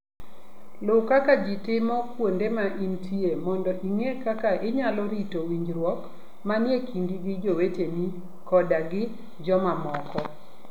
Luw kaka ji timo kuonde ma intie mondo ing'e kaka inyalo rito winjruok manie kindi gi joweteni koda gi jomamoko.